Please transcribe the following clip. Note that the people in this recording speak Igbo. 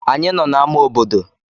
Anyị nọ n'ámá obodo.